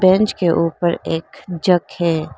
Bench के ऊपर एक जग है।